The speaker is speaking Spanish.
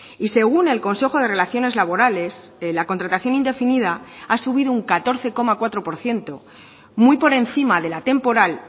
y según el consejo de relaciones laborales la contratación indefinida ha subido un catorce coma cuatro por ciento muy por encima de la temporal